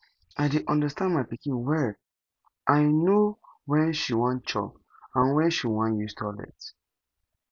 i dey understand my pikin well i no when she wan chop and when she wan use toilet